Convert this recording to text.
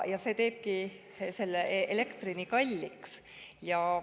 See teebki elektri nii kalliks.